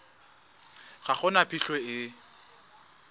ga go na phitlho e